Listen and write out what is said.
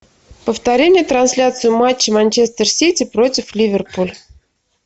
повтори мне трансляцию матча манчестер сити против ливерпуль